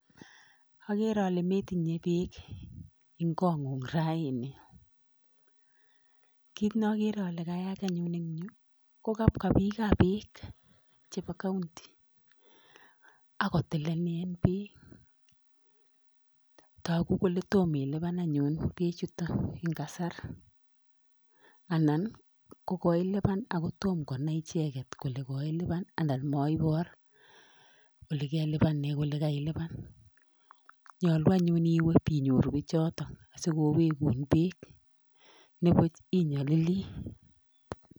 "Ogere ole metinye beek en kong'ung raini. Kit neokere ole kayaach anyun en yu ko kabwa biikab beek chebo county ak kotilenin beek togu kole tom ilipan anyun beek en kasara anan kogiilipan ago tum konai icheget kole koilipan anan moibor ole koilipanen kole koilipan. Nyolu anyun iwe ibinyoru biichoto asikowegun beek nibuch inyolili."